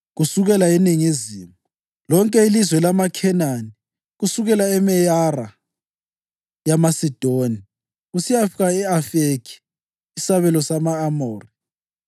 kusukela eningizimu, lonke ilizwe lamaKhenani, kusukela eMeyara yamaSidoni kusiyafika e-Afekhi, isabelo sama-Amori,